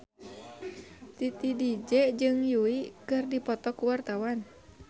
Titi DJ jeung Yui keur dipoto ku wartawan